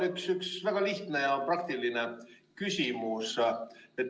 Mul on üks väga lihtne ja praktiline küsimus.